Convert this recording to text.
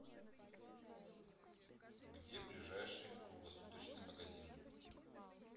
где ближайший круглосуточный магазин